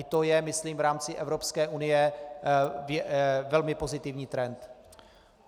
I to je myslím v rámci Evropské unie velmi pozitivní trend.